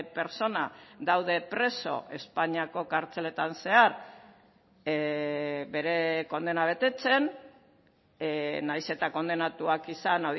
pertsona daude preso espainiako kartzeletan zehar bere kondena betetzen nahiz eta kondenatuak izan